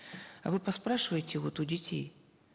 а вы поспрашивайте вот у детей